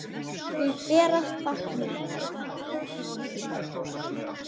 Því ber að fagna.